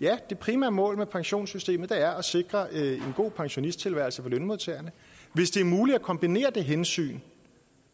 ja det primære mål med pensionssystemet er at sikre en god pensionisttilværelse for lønmodtagerne hvis det er muligt at kombinere det hensyn